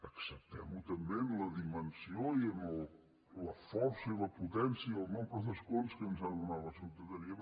acceptem ho també en la dimensió i en la força i la potència i el nombre d’escons que ens ha donat la ciutadania